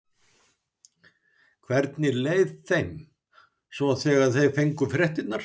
Hvernig leið þeim svo þegar þeir fengu fréttirnar?